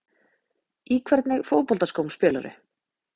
Í hvernig fótboltaskóm spilarðu?